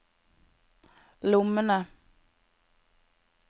lommene